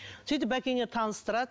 сөйтіп бәкеңе таныстырады